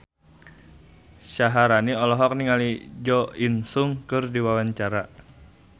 Syaharani olohok ningali Jo In Sung keur diwawancara